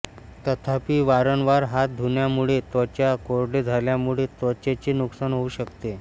तथापि वारंवार हात धुण्यामुळे त्वचा कोरडे झाल्यामुळे त्वचेचे नुकसान होऊ शकते